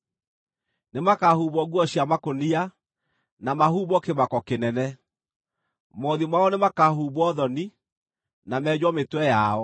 Nĩmakahumbwo nguo cia makũnia, na mahumbwo kĩmako kĩnene. Mothiũ mao nĩmakahumbwo thoni, na menjwo mĩtwe yao.